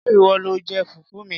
Ṣé ìwọ lo jẹ fùfú mi?